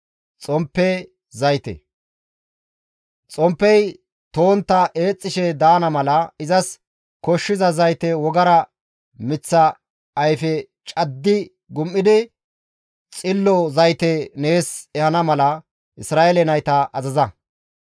«Xomppey to7ontta eexxishe daana mala izas koshshiza zayte wogara miththa ayfe caddi gum7idi xillo zayte nees ehana mala Isra7eele nayta azaza.